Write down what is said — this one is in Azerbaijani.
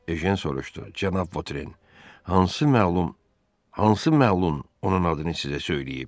Ejen soruştu: cənab Votren, hansı məlum, hansı məlun onun adını sizə söyləyib?